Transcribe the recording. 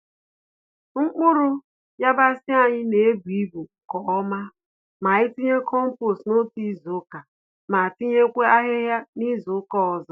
Mkpụrụ yabasị anyị n'ebu-ibu nke ọma, ma anyị tinye kompost n'otu izuka ma tinyekwa ahịhịa nizuka ọzọ.